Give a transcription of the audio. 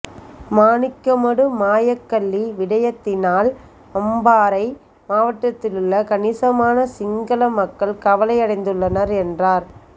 மாணிக்கமடு மாயக்கல்லி விடயத்தினால் அம்பாறை மாவட்டதிலுள்ள கணிசமான சிங்கள மக்கள் கவலையடைந்துள்ளனர் என்றார்